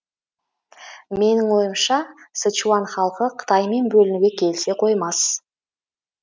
менің ойымша сычуан халқы қытаймен бөлінуге келісе қоймас